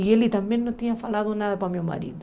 E ele também não tinha falado nada para meu marido.